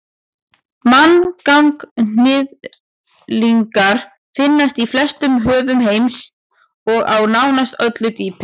manganhnyðlingar finnast í flestum höfum heims og á nánast öllu dýpi